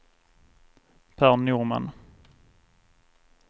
Per Norman